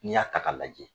N'i y'a ta k'a lajɛ